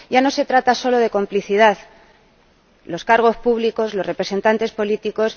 Ya no se trata solo de complicidad los cargos públicos, los representantes políticos.